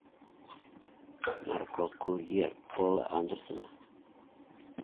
наркокурьер пола андерсена